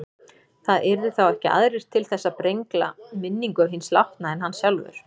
Það yrðu þá ekki aðrir til þess að brengla minningu hins látna en hann sjálfur.